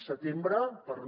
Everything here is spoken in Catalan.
setembre per no